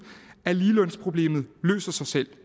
at ligelønsproblemet løser sig selv